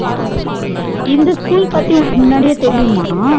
இந்த school பத்தி உனக்கு முன்னாடியே தெரியுமா